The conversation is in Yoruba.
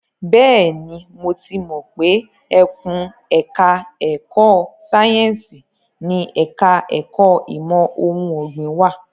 Bẹ́ẹ̀ni, mo ti mọ pé ẹkùn ẹ̀ka ẹ̀kó sáyẹ́ǹsì ni ẹ̀ka ẹ̀kó ìmọ̀ ohun ọ̀gbìn wà.